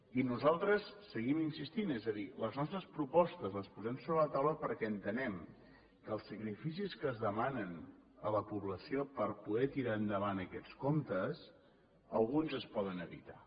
i nosaltres seguim insistint és a dir les nostres propostes les posem sobre la taula perquè entenem que els sacrificis que es demanen a la població per poder tirar endavant aquests comptes alguns es poden evitar